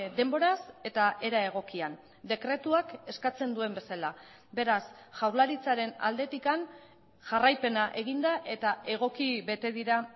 denboraz eta era egokian dekretuak eskatzen duen bezala beraz jaurlaritzaren aldetik jarraipena egin da eta egoki bete dira